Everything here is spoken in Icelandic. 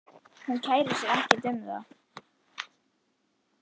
Hún kærir sig ekkert um það.